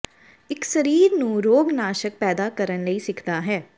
ਇੱਕ ਸਰੀਰ ਨੂੰ ਰੋਗਨਾਸ਼ਕ ਪੈਦਾ ਕਰਨ ਲਈ ਸਿੱਖਦਾ ਹੈ